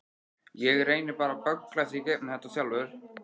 Ég reyni bara að bögglast í gegnum þetta sjálfur.